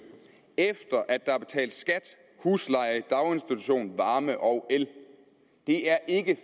efter at der er betalt skat husleje daginstitution varme og el det er ikke